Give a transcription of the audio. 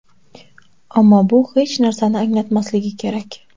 Ammo bu hech narsani anglatmasligi kerak.